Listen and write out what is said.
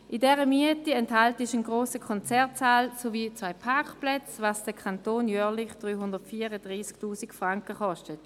In der Miete enthalten sind ein grosser Konzertsaal sowie zwei Parkplätze, was den Kanton jährlich 334 000 Franken kostet.